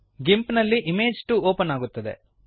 ಗಿಂಪ್ ಯಲ್ಲಿ image 2 open ಆಗುತ್ತದೆ